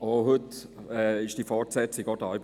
Heute setzt sich das fort.